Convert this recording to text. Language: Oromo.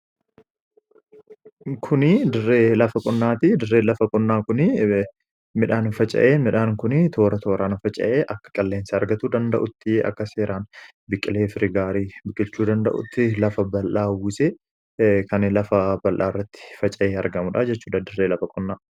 Kun dirree lafa qonnaati. Dirree lafa qonnaa kunii midhaan faca'ee, midhaan kunii toora tooraan faca'ee akka qilleensa argachuu danda'utti akka seeraan biqilee firee gaarii biqilchuu danda'uttii lafa bal'aa uwwisee kan lafa bal'aa irratti uwwisee faca'ee argamudha jechuudha dirree lafa qonnaa.